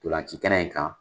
Tolanci kɛnɛ in kan.